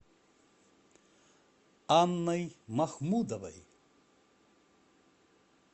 анной махмудовой